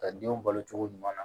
Ka denw balo cogo ɲuman na